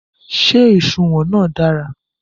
Ṣé òṣùwọ̀n náà dára?